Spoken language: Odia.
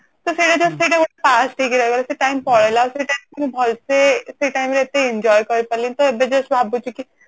ତ ସେଇଟା ଯଦି ଦେଖିବା ସେଇଟା past ହେଇଗଲା ସେଇ time ପଳେଇଲା ତ୍ସେୟ time କୁ ଏତେ ଭଲସେ enjoy କରିପାରିଲିନି ତ ଏବେ just ଭାବୁଛି କି